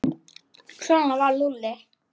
Svona var Lúlli.